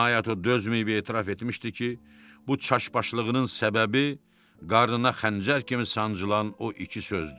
Nəhayət o dözməyib etiraf etmişdi ki, bu çaşbaşlığının səbəbi qarnına xəncər kimi sancılan o iki sözdür.